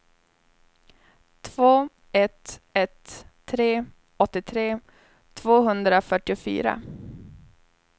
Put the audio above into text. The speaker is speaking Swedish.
två ett ett tre åttiotre tvåhundrafyrtiofyra